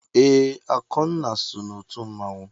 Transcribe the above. Ee, Akụnna so n'otu mmanwụ.